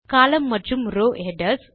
column மற்றும் row headers